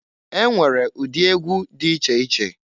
E nwere ụdị egwu di iche iche.